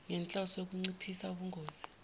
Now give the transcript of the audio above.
ngenhloso yokunciphisa ubungozi